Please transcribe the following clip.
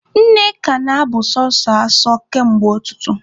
Nneka na-abụ sọsọ asọ kamgbe ụtụtụ.